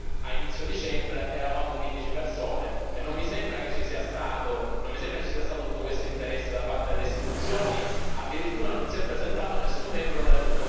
Però, di fatto, quando abbiamo tenuto l'ultima riunione qui a Strasburgo, a inizio dicembre, eravamo quindici persone e non mi sembra che ci sia stato tutto questo interesse da parte delle istituzioni.